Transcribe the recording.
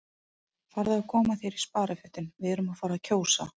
Farðu að koma þér í sparifötin, við erum að fara að kjósa